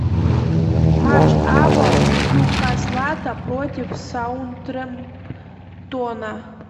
матч апл ньюкасла против саутгемптона